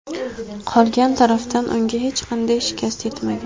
Qolgan tarafdan unga hech qanday shikast yetmagan.